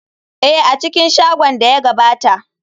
Ee, a cikin shagon da ya gabata.